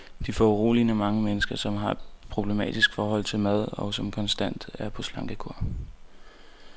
Der er foruroligende mange mennesker, som har et problematisk forhold til mad, og som konstant er på slankekur.